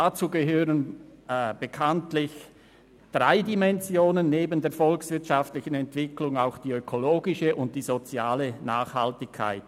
Dazu gehören bekanntlich drei Dimensionen, nämlich neben der volkswirtschaftlichen Entwicklung auch die ökologische und soziale Nachhaltigkeit.